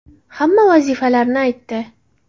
hamma vazifalarni aytdi.